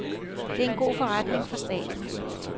Det er en god forretning for staten.